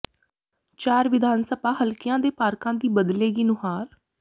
ਚਾਰ ਵਿਧਾਨ ਸਭਾ ਹਲਕਿਆਂ ਦੇ ਪਾਰਕਾਂ ਦੀ ਬਦਲੇਗੀ ਨੁਹਾਰ